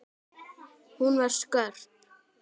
Hún var skörp.